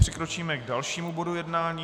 Přikročíme k dalšímu bodu jednání.